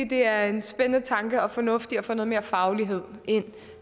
det er en spændende tanke og fornuftigt at få noget mere faglighed ind